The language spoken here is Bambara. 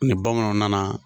Ni bamananw nana